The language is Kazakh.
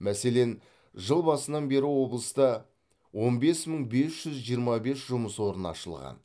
мәселен жыл басынан бері облыста он бес мың бес жүз жиырма бес жұмыс орны ашылған